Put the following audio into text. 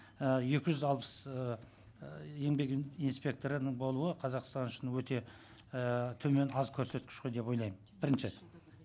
ы екі жүз алпыс ы еңбек инспекторының болуы қазақстан үшін өте і төмен аз көрсеткіш қой деп ойлаймын бірінші